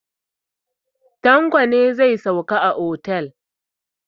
Tanlo ne zai sauka a otel.